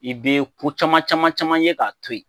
I be ko cama caman caman ye k'a to yen